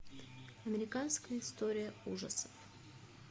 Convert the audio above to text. американская история ужасов